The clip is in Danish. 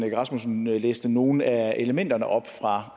egge rasmussen læste nogle af elementerne op fra